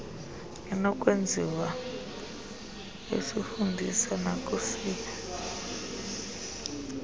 inokwenziwa isivundiso nakusiphi